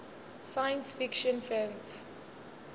science fiction fans